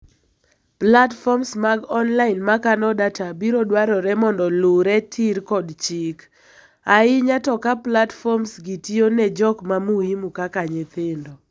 Platforms mag online makano data biro dwarore mondo luure tir kod chik, ahinya to ka platforms gi tiyone jok ma muhimu kaka nyithindo.